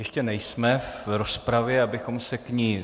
Ještě nejsme v rozpravě, abychom se k ní...